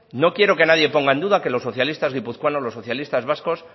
no quiero que nadie ponga en duda que los socialistas guipuzcoanos los socialistas vascos